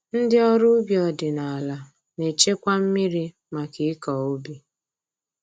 Ndị ọrụ ubi ọdịnaala na-echekwa mmiri maka ịkọ ubi